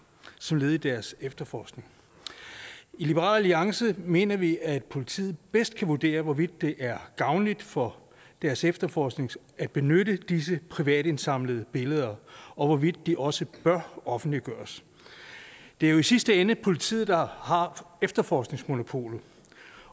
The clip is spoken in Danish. som led i deres efterforskning i liberal alliance mener vi at politiet bedst kan vurdere hvorvidt det er gavnligt for deres efterforskning at benytte disse privatindsamlede billeder og hvorvidt de også bør offentliggøres det er jo i sidste ende politiet der har efterforskningsmonopolet